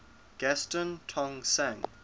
gaston tong sang